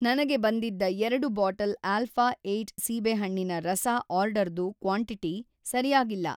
ನನಗೆ ಬಂದಿದ್ದ ಎರಡು ಬಾಟಲ್ ಆಲ್ಫಾ ಏಯ್ಟ್ ಸಿಬೇಹಣ್ಣಿನ ರಸ ಆರ್ಡರ್‌ದು ಕ್ವಾಂಟಿಟಿ ಸರಿಯಾಗಿಲ್ಲ